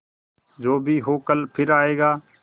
जो भी हो कल फिर आएगा